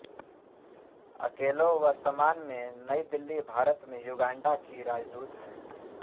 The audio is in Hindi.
अकेलो वर्तमान में नई दिल्ली भारत में युगांडा की राजदूत हैं